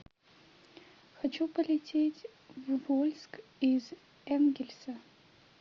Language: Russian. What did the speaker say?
хочу полететь в вольск из энгельса